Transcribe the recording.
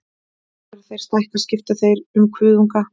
Þegar þeir stækka skipta þeir um kuðunga.